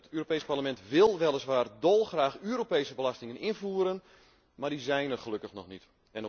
Het Europees Parlement wil weliswaar dolgraag Europese belastingen invoeren, maar die zijn er gelukkig nog niet.